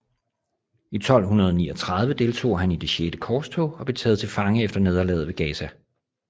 I 1239 deltog han i det Sjette Korstog og blev taget til fange efter nederlaget ved Gaza